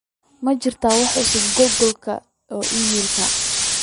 ma jiraa wax cusub galkeyga oo iimaylka